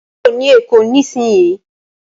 ko kúrò ní èkó nísìsiyìí!